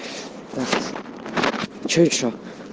что ещё